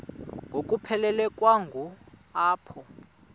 ngokuphelekwa ngu apho